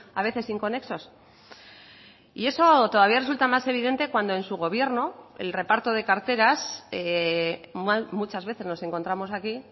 a veces inconexos y eso todavía resulta más evidente cuando en su gobierno el reparto de carteras muchas veces nos encontramos aquí